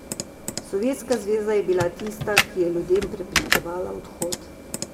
Sovjetska zveza je bila tista, ki je ljudem preprečevala odhod.